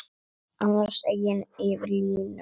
Annars eigin yfir línuna.